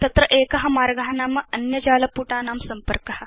तत्र एक मार्ग नाम अन्य जालपुटानां संपर्क